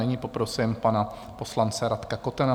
Nyní poprosím pana poslance Radka Kotena.